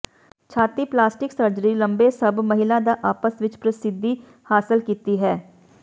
ਛਾਤੀ plastic surgery ਲੰਬੇ ਸਭ ਮਹਿਲਾ ਦਾ ਆਪਸ ਵਿੱਚ ਪ੍ਰਸਿੱਧੀ ਹਾਸਲ ਕੀਤੀ ਹੈ